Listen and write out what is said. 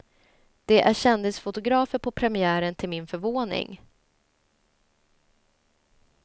Det är kändisfotografer på premiären till min förvåning.